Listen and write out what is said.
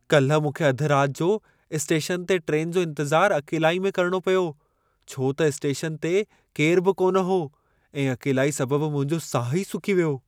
काल्हि मूंखे अधि राति जो स्टेशन ते ट्रेन जो इंतिज़ारु अकेलाई में करणो पियो छो त स्टेशनु ते केरु बि कान हो ऐं अकेलाई सबबु मुंहिंजो साहु ई सुकी वियो।